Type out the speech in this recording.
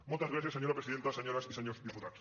moltes gràcies senyora presidenta senyores i senyors diputats